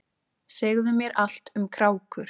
Segðu mér allt um krákur.